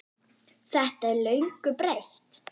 Þetta er löngu breytt?